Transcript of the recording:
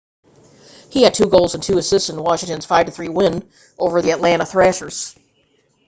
he had 2 goals and 2 assists in washington's 5-3 win over the atlanta thrashers